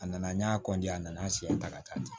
A nana n y'a kɔnti a nana an siɲɛ ta ka taa ten